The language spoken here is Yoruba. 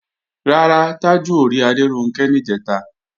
Rárá, Tájù ò rí Adéronkẹ́ níjẹ̀ta